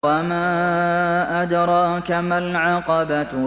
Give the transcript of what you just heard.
وَمَا أَدْرَاكَ مَا الْعَقَبَةُ